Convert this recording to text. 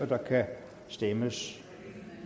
der kan stemmes